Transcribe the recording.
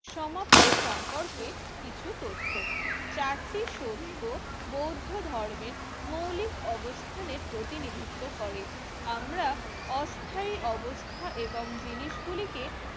সমাপ্তি সম্পর্কে কিছু তথ্য চারটি সত্য বৌদ্ধ ধর্মের মৌলিক অবস্থানে প্রতিনিধিত্ব করে। আমরা অস্থায়ী অবস্থা এবং জিনিসগুলিকে